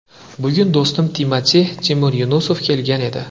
Bugun do‘stim Timati − Timur Yunusov kelgan edi.